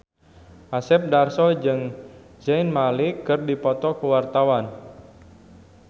Asep Darso jeung Zayn Malik keur dipoto ku wartawan